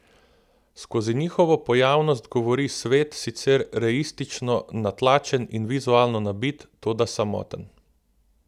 Skozi njihovo pojavnost govori svet, sicer reistično natlačen in vizualno nabit, toda samoten.